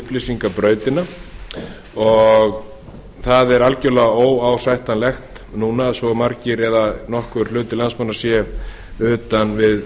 segja utan við upplýsingabrautina og það er algerlega óásættanlegt núna að svo margir eða nokkur hluti landsmanna sé utan við